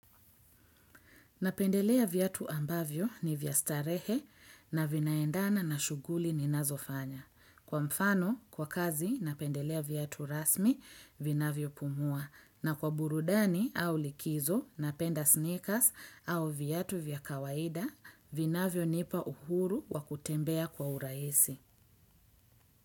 Napendelea viatu ambavyo ni vya starehe, na vinaendana na shughuli ninazofanya. Kwa mfano, kwa kazi, napendelea viatu rasmi, vinavyo pumua. Na kwa burudani au likizo, napenda sneakers au viatu vya kawaida, vinavyonipa uhuru wa kutembea kwa urahisi.